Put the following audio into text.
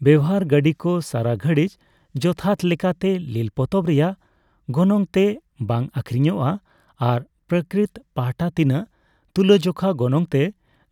ᱵᱮᱣᱦᱟᱨ ᱜᱟᱺᱰᱤ ᱠᱚ ᱥᱟᱨᱟ ᱜᱷᱟᱹᱲᱤᱪ ᱡᱚᱛᱷᱟᱛ ᱞᱮᱠᱟᱛᱮ ᱞᱤᱞ ᱯᱚᱛᱚᱵ ᱨᱮᱭᱟᱜ ᱜᱚᱱᱚᱝᱛᱮ ᱵᱟᱝ ᱟᱹᱠᱷᱨᱤᱧᱚᱜᱼᱟ, ᱟᱨ ᱯᱨᱚᱠᱨᱤᱛ ᱯᱟᱦᱴᱟ ᱛᱤᱱᱟᱹᱜ ᱛᱩᱞᱟᱹᱡᱚᱠᱷᱟ ᱜᱚᱱᱚᱝᱛᱮ